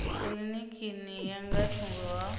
kilinikini ya nga thungo ha